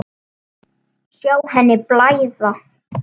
Sjá henni blæða.